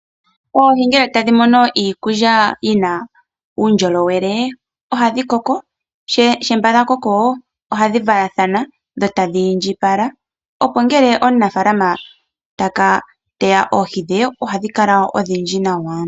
Oohi ngele tadhi mono iikulya yina uundjolowele ohadhi koko. Shampa dha koko dho tadhi valathana. Dho tadhi indjipala opo ngele omunafalama taka teya oohi dhe oha dhi kala odhindji nawa.